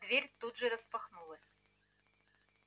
дверь тут же распахнулась